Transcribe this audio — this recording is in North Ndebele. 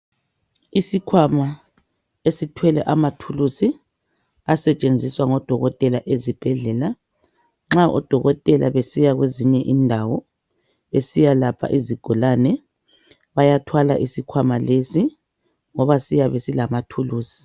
Isikwama esithwele amathulisi asetshenziswa ngabodokotela ezibhedlela nxa odokotela besiya kweyinye indawo besiya lapho izigulane bayathwala isikhwama lesi ngoba siyabe silamathulisi.